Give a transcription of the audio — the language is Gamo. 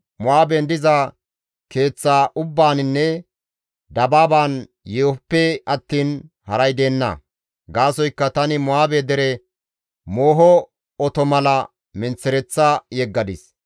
Mo7aaben diza keeththa ubbaaninne dabaaban yeehoppe attiin haray deenna; gaasoykka tani Mo7aabe dere mooho oto mala menththereththa yeggadis.